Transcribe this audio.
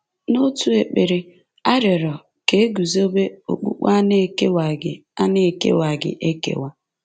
N’otu ekpere a rịọrọ ka e guzobe “okpukpe a na-ekewaghị a na-ekewaghị ekewa.”